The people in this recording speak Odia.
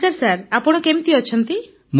ନମସ୍କାର ସାର୍ ଆପଣ କେମିତି ଅଛନ୍ତି